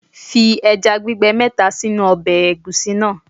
Fi ẹja gbígbẹ mẹ́ta sínú ọbẹ̀ Ẹ̀gúsí náà.